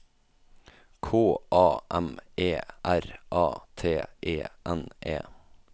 K A M E R A T E N E